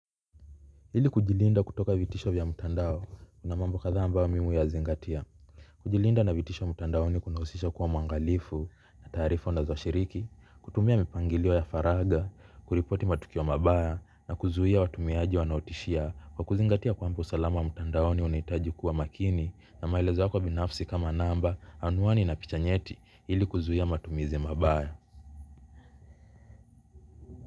Hili kujilinda kutoka vitisho vya mutandao kuna mambo katha ambao mimi huya zingatia. Kujilinda na vitisho mutandao ni kunaosisha kuwa mwangalifu na tarifu na zoshiriki, kutumia mipangiliwo ya faraga, kuripoti matukiwo mabaya na kuzuhia watumiajiwa naotishia kwa kuzingatia kwamba usalama wa mutandao ni unaitaji kuwa makini na maelezo wako binafsi kama namba anuani na pichanyeti hili kuzuhia matumizi mabaya.